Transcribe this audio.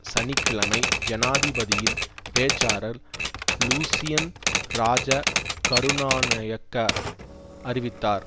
சனி கிழமை ஜனாதிபதியின் பேச்சாளர் லுசியன் இராஜ கருணானயக்க அறிவித்தார்